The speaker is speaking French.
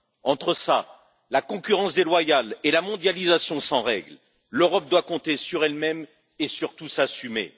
Entre cela, la concurrence déloyale et la mondialisation sans règles, l'Europe doit compter sur elle même et, surtout, s'assumer.